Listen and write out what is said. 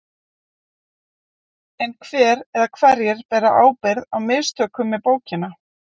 En hver eða hverjir bera ábyrgð á mistökunum með bókina?